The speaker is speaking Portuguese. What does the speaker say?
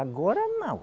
Agora, não.